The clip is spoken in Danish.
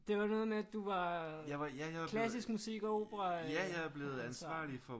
Det var noget med at du var klassisk musik- og operaansvarlig